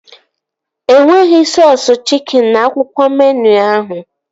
E nweghị sọọsu chikin n'akwụkwọ meenụ ahụ